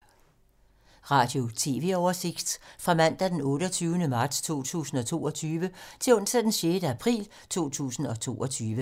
Radio/TV oversigt fra mandag d. 28. marts 2022 til onsdag d. 6. april 2022